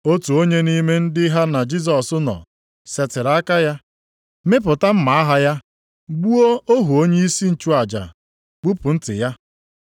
Otu onye nʼime ndị ha na Jisọs nọ, setịrị aka ya, mịpụta mma agha ya, gbuo ohu onyeisi nchụaja, gbupụ ntị ya.